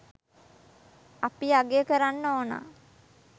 අපි අගය කරන්න ඕනා.